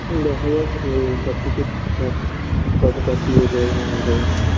হুম দেখা যাক যে সবকিছু ঠিকঠাক কতটা কি এগোয় না এগোয়